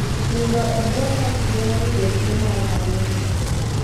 Nindo e buo net geng'o yudo tuo mar Malaria.